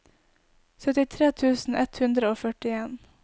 syttitre tusen ett hundre og førtien